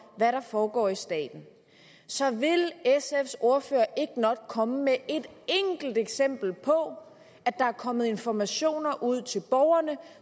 hvad der foregår i staten så vil sfs ordfører ikke nok komme med et enkelt eksempel på at der er kommet informationer ud til borgerne